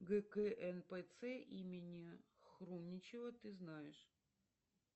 гкнпц имени хрумничева ты знаешь